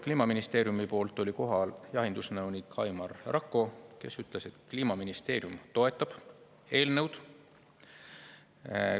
Kliimaministeeriumi poolt oli kohal jahindusnõunik Aimar Rakko, kes ütles, et Kliimaministeerium toetab eelnõu.